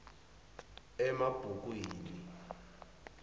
emabhukwini